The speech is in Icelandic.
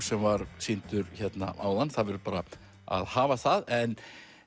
sem var sýndur hérna áðan það verður bara að hafa það en